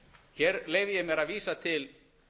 hér leyfi ég mér að vísa til